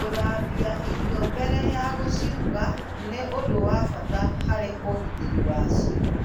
Gúthambia irio wega mbere ya gũciruga nĩ ũndũ wa bata harĩ ũgitĩri wacio.